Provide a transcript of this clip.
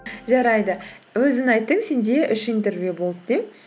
жарайды өзің айттың сенде үш интервью болды деп